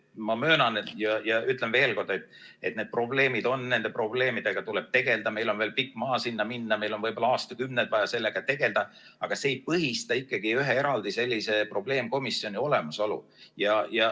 Ma möönan ja ütlen veel kord, et need probleemid on, nende probleemidega tuleb tegeleda, meil on veel pikk maa sinna minna, meil on võib-olla aastakümneid vaja sellega tegeleda, aga see ei põhista ikkagi ühe sellise eraldi probleemkomisjoni olemasolu.